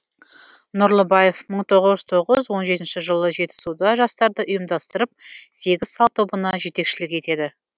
нұрлыбаев мың тоғыз жүз тоғыз он жетінші жылы жетісуда жастарды ұйымдастырып сегіз сал тобына жетекшілік етеді